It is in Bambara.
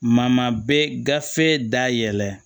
Ma bɛ gafe da yɛlɛ